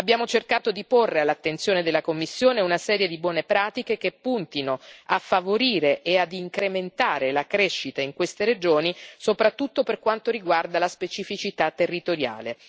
Abbiamo cercato di porre all'attenzione della Commissione una serie di buone pratiche, che puntino a favorire e ad incrementare la crescita in queste regioni, soprattutto per quanto riguarda la specificità territoriale.